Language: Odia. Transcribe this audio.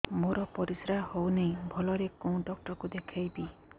ମୋର ପରିଶ୍ରା ହଉନାହିଁ ଭଲରେ କୋଉ ଡକ୍ଟର କୁ ଦେଖେଇବି